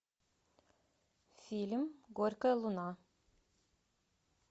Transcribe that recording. фильм горькая луна